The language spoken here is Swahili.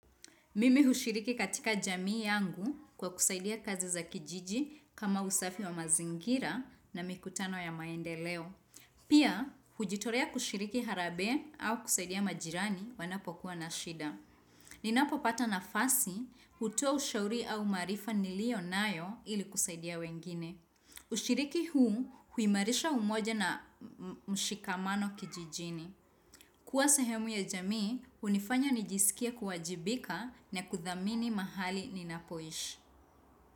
Mimi hushiriki katika jamii yangu kwa kusaidia kazi za kijiji kama usafi wa mazingira na mikutano ya maendeleo. Pia, hujitorea kushiriki harambe au kusaidia majirani wanapo kuwa na shida. Ninapo pata na fasi, hutoa ushauri au maarifa nilio nayo ili kusaidia wengine. Ushiriki huu huimarisha umoja na mshikamano kijijini. Kuwa sahemu ya jamii, hunifanya nijisikie kuwajibika na kuthamini mahali ninapoishi.